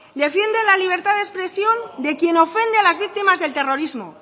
defienden la libertad de expresión de quien ofende a las víctimas del terrorismo